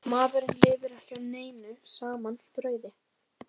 Maðurinn lifir ekki á einu saman brauði.